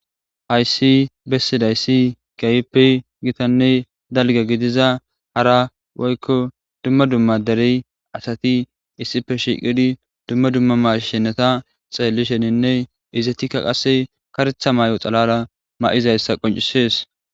hayssi bessidayssi keyippe gitanne dalga gidiza hara woykko dumma dumma derey asati issife shiqidi dumma dumma mashenata xeellisheninne izetikka qasse karetha mayo xalala ma'izayssa qoncisees